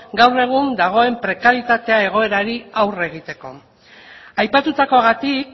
gaur egun dagoen prekarietate egoerari aurre egiteko aipatutakoagatik